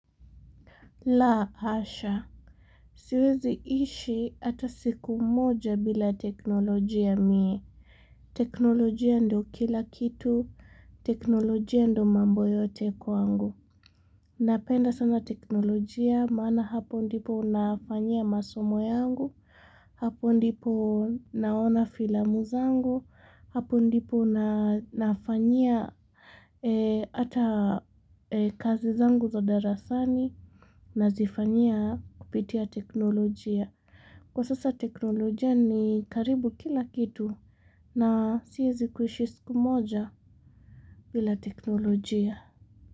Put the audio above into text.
La hasha, siwezi ishi hata siku moja bila teknolojia mie, teknolojia ndio kila kitu, teknolojia ndio mambo yote kwangu Napenda sana teknolojia maana hapo ndipo nafanyia masomo yangu, hapo ndipo naona filamu zangu, hapo ndipo nafanyia hata kazi zangu za darasani nazifanyia kupitia teknolojia. Kwa sasa teknolojia ni karibu kila kitu na siwezi kuishi siku moja bila teknolojia.